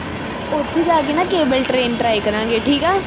ਉਥੇ ਜਾ ਕੇ ਨਾ, Cable train try ਕਰਾਂਗੇ ਠੀਕਾ?